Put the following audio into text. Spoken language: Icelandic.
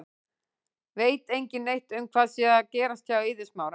Veit engin neitt um hvað sé að gerast hjá Eiði Smára?